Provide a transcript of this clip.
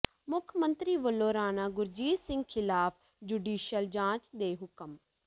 ਮੁੱਖ ਮੰਤਰੀ ਵੱਲੋਂ ਰਾਣਾ ਗੁਰਜੀਤ ਸਿੰਘ ਖਿਲਾਫ਼ ਜੁਡੀਸ਼ਲ ਜਾਂਚ ਦੇ ਹੁਕਮ